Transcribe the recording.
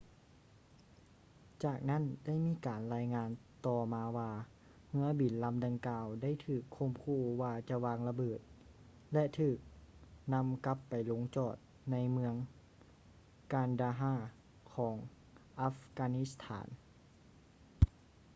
ຈາກນັ້ນໄດ້ມີການລາຍງານຕໍ່ມາວ່າເຮືອບິນລຳດັ່ງກ່າວໄດ້ຖືກຂົ່ມຂູ່ວ່າຈະວາງລະເບີດ ແລະ ຖືກນຳກັບໄປລົງຈອດໃນເມືອງ kandahar ຂອງອັຟການິສະຖານ